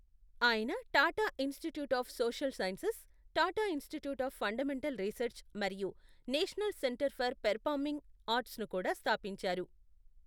ఆయన Tata institute of social sciences, Tata institute of fundamental research మరియు national centre for performing ఆర్ట్స్ను కూడా స్థాపించారు.